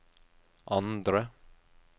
andre